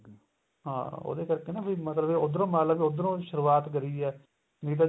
ਹਾਂ ਉਹਦੇ ਕਰਕੇ ਨਾ ਫੇਰ mother ਦੇ ਉੱਧਰੋ ਮਤਲਬ ਉੱਧਰੋ ਸ਼ੁਰਵਾਤ ਕਰੀ ਏ ਨਹੀਂ ਤਾਂ